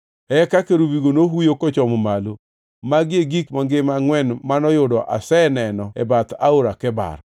Eka kerubigo nohuyo kochomo malo. Magi e gik mangima angʼwen manoyudo aseneno e bath Aora Kebar.